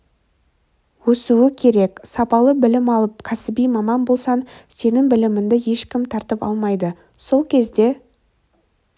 өсуі керек сапалы білім алып кәсіби маман болсаң сенің біліміңді ешкім тартып алмайды сол кезде